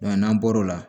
n'an bɔra o la